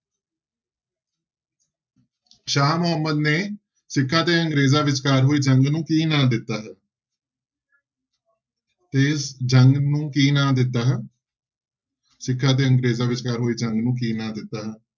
ਸ਼ਾਹ ਮੁਹੰਮਦ ਨੇ ਸਿੱਖਾਂ ਤੇ ਅੰਗਰੇਜ਼ਾਂ ਵਿਚਕਾਰ ਹੋਈ ਜੰਗ ਨੂੰ ਕੀ ਨਾਂ ਦਿੱਤਾ ਹੈ ਤੇ ਜੰਗ ਨੂੰ ਕੀ ਨਾਂ ਦਿੱਤਾ ਹੈ ਸਿੱਖਾਂ ਤੇ ਅੰਗਰੇਜ਼ਾਂ ਵਿਚਕਾਰ ਹੋਈ ਜੰਗ ਨੂੰ ਕੀ ਨਾਂ ਦਿੱਤਾ ਹੈ।